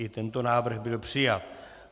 I tento návrh byl přijat.